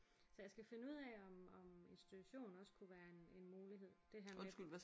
Så jeg skal finde ud af om om institution også kunne være en en mulighed. Det her med at